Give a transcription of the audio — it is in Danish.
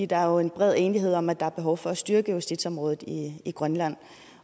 der er jo en bred enighed om at der er behov for at styrke justitsområdet i grønland